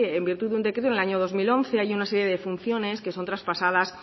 en virtud de un decreto en el año dos mil once hay una serie de funciones que son traspasadas